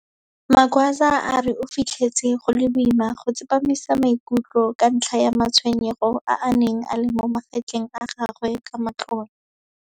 Magwaza a re o fitlhetse go le boima go tsepamisa maikutlo ka ntlha ya matshwenyego a a neng a le mo magetleng a gagwe ka matlole.